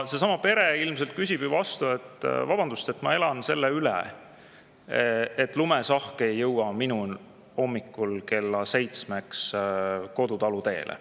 Seesama pere ilmselt küsib ju vastu, et vabandust, ma elan selle üle, et lumesahk ei jõua hommikul kella seitsmeks minu kodutalu teele.